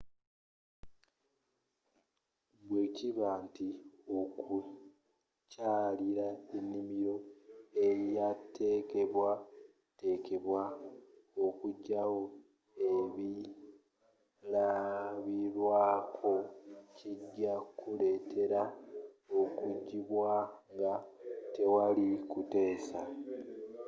bwekiba nti okukyalira enimiro eyateekebwa teekebwa okujayo”ebilabirwaako” kijja kuleetera okujibwaayo nga tewali kuteesa